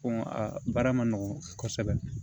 Ko a baara ma nɔgɔn kosɛbɛ